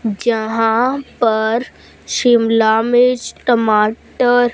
जहां पर शिमला मिर्च टमाटर--